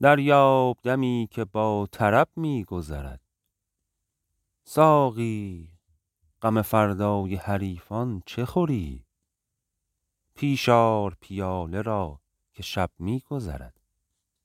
دریاب دمی که با طرب می گذرد ساقی غم فردای حریفان چه خوری پیش آر پیاله را که شب می گذرد